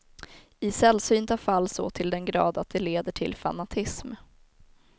I sällsynta fall så till den grad att det leder till fanatism.